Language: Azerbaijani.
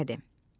Məqsədi.